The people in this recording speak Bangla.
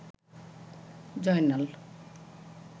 জয়নাল